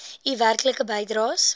u werklike bydraes